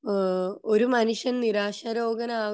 ഏഹ്ഹ് ഒരു മനുഷ്യൻ നിരാശരോഗം